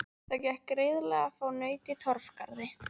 Það gekk greiðlega að fá naut í Torfgarði.